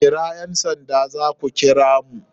Kira ƴan sanda zaku kira mun..